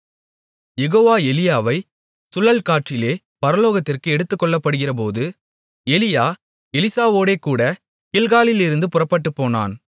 யெகோவா எலியாவை சுழல்காற்றிலே பரலோகத்திற்கு எடுத்துக்கொள்ளப்படுகிறபோது எலியா எலிசாவோடேகூடக் கில்காலிலிருந்து புறப்பட்டுப்போனான்